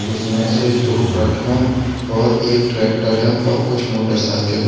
जिसमें से दो ट्रक हैं और एक ट्रैक्टर है और कुछ मोटरसाइकिल है।